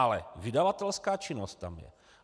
Ale vydavatelská činnost tam je.